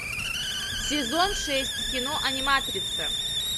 сезон шесть кино аниматрица